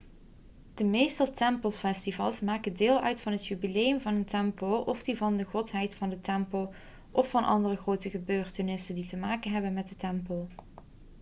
de meeste tempelfestivals maken deel uit van het jubileum van een tempel of die van de godheid van de tempel of van andere grote gebeurtenissen die te maken hebben met de tempel